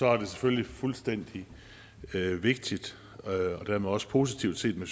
er det selvfølgelig meget vigtigt og dermed også positivt set med